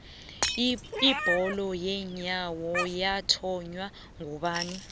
ibholo yeenyawo yathonywa ngubani